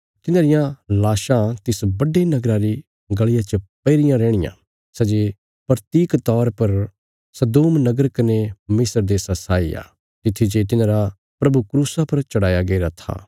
तिन्हांरियां लाशां तिस बड्डे नगरा री गल़िया च पई रियां रैहणियां सै जे प्रतीक तौर पर सदोम नगर कने मिस्र देशा साई आ तित्थी जे तिन्हांरा प्रभु क्रूसा पर चढ़ाया गईरा था